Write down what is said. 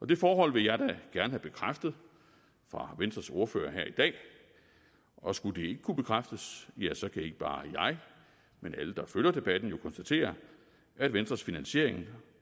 det forhold vil jeg da gerne have bekræftet fra venstres ordfører her i dag og skulle det ikke kunne bekræftes ja så kan ikke bare jeg men alle der følger debatten jo konstatere at venstres finansiering